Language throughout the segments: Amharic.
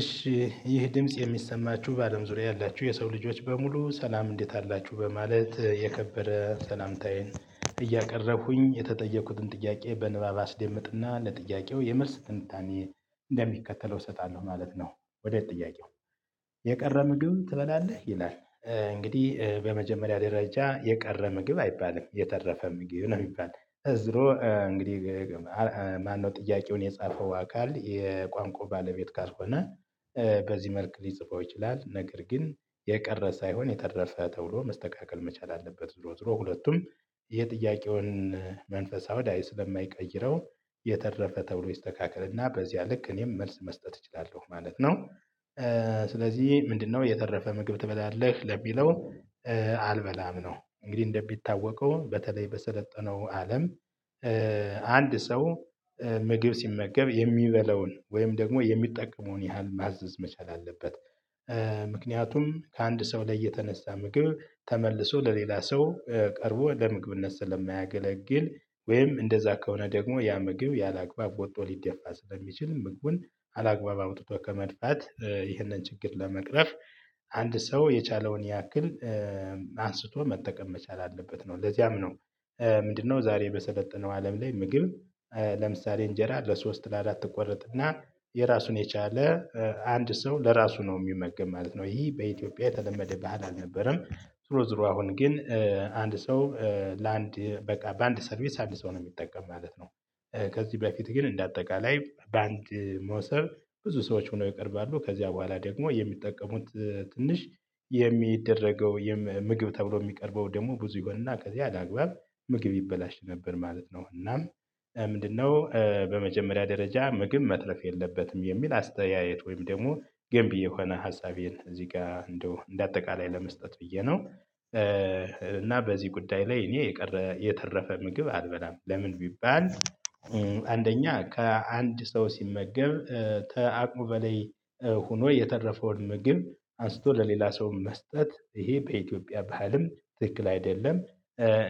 እሺ ይህ ድምጽ የሚሰማችሁ በአለም ዙሪያ ያላችሁ የሰው ልጆች በሙሉ ሰላም እንዴት አላችሁ በማለት የከበረ ሰላምታዬን እያቀረብኩኝ የተጠየኩትን ጥያቄ በንባብ አስደምጥና ለጥያቄው የመልስ ትንታኔ እንደሚከተለው እሰጣለሁ ማለት ነው። ወደ ጥያቄው። የቀረ ምግብ ትበላለህ? ይላል እንግዲህ በመጀመሪያ ደረጃ የቀረ ምግብ አይባልም። የተረፈ ምግብ ነው ሚባል። ዙሮ እንግዲህ ማነው ጥያቄውን የጻፈው አካል የቋንቋ ባለቤት ካልሆነ በዚህ መልክ ሊጽፈው ይችላል። ነገር ግን የቀረ ሳይሆን የተረፈ ተብሎ መስተካከል መቻል አለበት። ዙሮ ዙሮ ሁለቱም የጥያቄውን መንፈሳዊ አውድ ስለማይቀይረው የተረፈ ተብሎ ይስተካከልና በዚያ ልክ እኔም መልስ መስጠት እችላለሁ ማለት ነው። ስለዚህ ምንድነው የተረፈ ምግብ ትበላለህ? ለሚለው አልበላም ነው። እንግዲህ እንደሚታወቀው በተለይ በሰለጠነው አለም አንድ ሰው ምግብ ሲመገብ የሚበለውን ወይም ደግሞ የሚጠቀመውን ያህል ማዘዝ መቻል አለበት። ምክንያቱም ከአንድ ሰው ላይ የተነሳ ምግብ ተመልሶ ለሌላ ሰው ቀርቦ ለምግብነት ስለማያገለግል ወይም እንደዛ ከሆነ ደግሞ ያ ምግብ ያለአግባብ ወጥቶ ሊደፋ ስለሚችል ምግቡን አላግባብ አውጥቶ ከመድፋት ይህንን ችግር ለመቅረፍ አንድ ሰው የቻለውን ያክል አንስቶ መጠቀም መቻል አለበት ነው። ለዚያም ነው ምንድነው ዛሬ በሰለጠነው አለም ላይ ምግብ ለምሳሌ እንጀራ ለሶስት ለአራት ትቆረጥና የራሱን የቻለ አንድ ሰው ለራሱ ነው ሚመገብ ማለት ነው። ይህ በኢትዮጵያ የተለመደ ባህል አልነበረም። ዙሮ ዙሮ አሁን ግን አንድ ሰው ለአንድ በቃ በአንድ ሰርቪስ አንድ ሰው ነው ሚጠቀም ማለት ነው። ከዚህ በፊት ግን እንደ አጠቃላይ በአንድ መሶብ ብዙ ሰዎች ሆነው ይቀርባሉ። ከዚያ በኋላ ደግሞ የሚጠቀሙት ትንሽ የሚደረገው ምግብ ተብሎ የሚቀርበው ደግሞ ብዙ ይሆንና ከዚያ አላግባብ ምግብ ይበላሽ ነበር ማለት ነው። እና ምንድነው? በመጀመሪያ ደረጃ ምግብ መትረፍ የለበትም የሚል አስተያየት ወይም ደግሞ ገንቢ የሆነ ሀሳቤን እዚህ ጋር እንደው እንደ አጠቃላይ ለመስጠት ብዬ ነው። እና በዚህ ጉዳይ ላይ እኔ የቀረ የተረፈ ምግብ አልበላም። ለምን? ቢባል አንደኛ ከአንድ ሰው ሲመገብ ተአቅሙ በላይ ሆኖ የተረፈውን ምግብ አንስቶ ለሌላ ሰው መስጠት ይሄ በኢትዮጵያ ባህልም ትክክል አይደለም።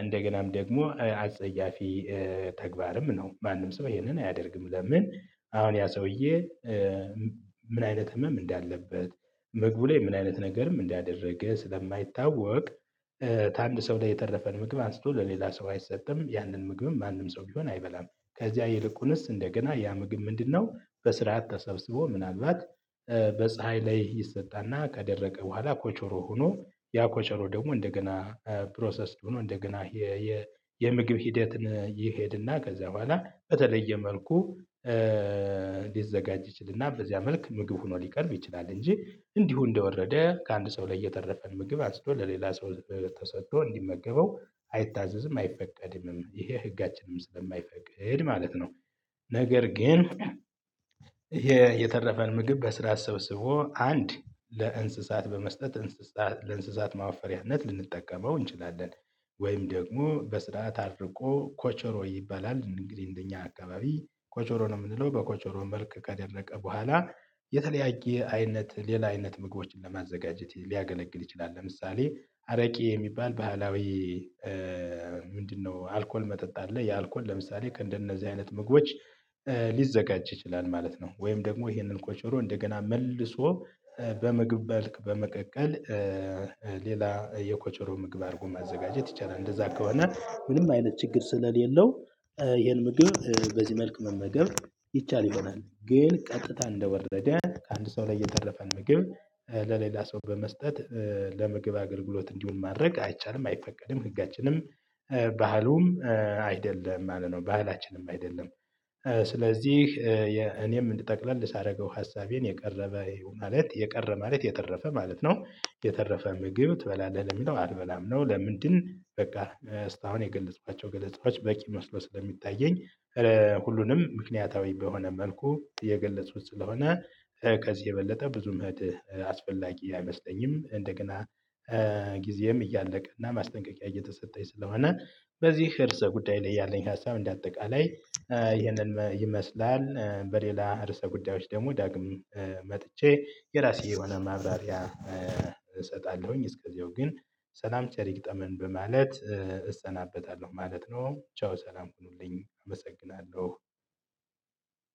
እንደገናም ደግሞ አጸያፊ ተግባርም ነው። ማንም ሰው ይሄንን አያደርግም። ለምን? አሁን ያ ሰውዬ ምን አይነት ህመም እንዳለበት ምግቡ ላይ ምን አይነት ነገርም እንዳደረገ ስለማይታወቅ ከአንድ ሰው ላይ የተረፈን ምግብ አንስቶ ለሌላ ሰው አይሰጥም። ያንን ምግብም ማንም ሰው ቢሆን አይበላም። ከዚያ ይልቁንስ እንደገና ያ ምግብ ምንድነው በስርዓት ተሰብስቦ ምናልባት በፀሀይ ላይ ይሰጣና ከደረቀ በኋላ ኮቾሮ ሆኖ ያ ኮቾሮ ደግሞ እንደገና ፕሮሰስድ ሆኖ እንደገና የምግብ ሂደትን ይሄድና ከዚያ በኋላ በተለየ መልኩ ሊዘጋጅ ይችልና በዚያ መልክ ምግብ ሆኖ ሊቀርብ ይችላል። እንጂ እንዲሁ እንደወረደ ከአንድ ሰው ላይ የተረፈን ምግብ አንስቶ ለሌላ ሰው ተሰጥቶ እንዲመገበው አይታዘዝም። አይፈቀድምም! ይሄ ህጋችንም ስለማይፈቅድ ማለት ነው። ነገር ግን የተረፈን ምግብ በስርዓት ሰብስቦ አንድ ለእንስሳት በመስጠት እንስሳት ለእንስሳት ማወፈሪያነት ልንጠቀመው እንችላለን። ወይም ደግሞ በስርዓት አድርቆ ኮቾሮ ይባላል እንግዲህ እንደኛ አካባቢ ኮቾሮ ነው የምንለው በኮቾሮ መልክ ከደረቀ በኋላ የተለያየ አይነት ሌላ አይነት ምግቦችን ለማዘጋጀት ሊያገለግል ይችላል። ለምሳሌ አረቄ የሚባል ባህላዊ ምንድነው አልኮል መጠጥ አለ። ያ አልኮል ለምሳሌ ከእንደነዚህ አይነት ምግቦች ሊዘጋጅ ይችላል ማለት ነው። ወይም ደግሞ ይሄንን ቆቾሮ እንደገና መልሶ በምግብ መልክ በመቀቀል ሌላ የኮቾሮ ምግብ አርጎ ማዘጋጀት ይቻላል። እንደዛ ከሆነ ምንም አይነት ችግር ስለሌለው ይሄን ምግብ በዚህ መልክ መመገብ ይቻል ይሆናል። ግን ቀጥታ እንደወረደ ከአንድ ሰው ላይ የተረፈን ምግብ ለሌላ ሰው በመስጠት ለምግብ አገልግሎት እንዲሆን ማድረግ አይቻልም። አይፈቀድም! ህጋችንም ባህሉም አይደለም ማለት ነው። ባህላችንም አይደለም። ስለዚህ እኔም ጠቅለል ሳደርገው ሀሳቤን የቀረበ ማለት የቀረ ማለት የተረፈ ማለት ነው። የተረፈ ምግብ ትበላለህ? ለሚለው አልበላም ነው። ለምንድን? በቃ አሁን የገለፅኳቸው ገለጻዎች በቂ መስሎ ስለሚታየኝ ሁሉንም ምክንያታዊ በሆነ መልኩ የገለፅኩት ስለሆነ ከዚህ የበለጠ ብዙም መሄድ አስፈላጊ አይመስለኝም። እንደገና ጊዜም እያለቀ እና ማስጠንቀቂያ እየተሰጠኝ ስለሆነ በዚህ እርሰ ጉዳይ ላይ ያለኝ ሀሳብ እንደ አጠቃላይ ይህንን ይመስላል። በሌላ ርዕሰ ጉዳዮች ደግሞ ዳግም መጥቼ የራሴ የሆነ ማብራሪያ እሰጣለሁኝ። እስከዚያው ግን ሰላም ቸር ይግጠመን በማለት እሰናበታለሁ ማለት ነው። ቻው ሰላም ሁኑልኝ አመሰግናለሁ።